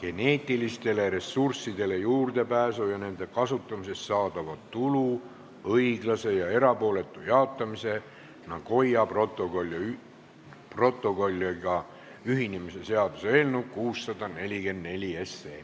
geneetilistele ressurssidele juurdepääsu ja nende kasutamisest saadava tulu õiglase ja erapooletu jaotamise Nagoya protokolliga ühinemise seaduse eelnõu 644.